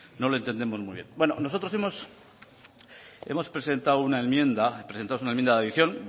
no le entendemos muy bien nosotros hemos presentado una enmienda presentamos una enmienda de adición